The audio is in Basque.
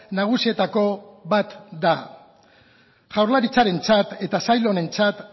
nagusietako bat da jaurlaritzarentzat eta sail honentzat